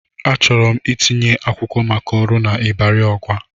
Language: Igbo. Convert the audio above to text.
Achọrọ m itinye akwụkwọ maka ọrụ n'Ịbari Ọgwa.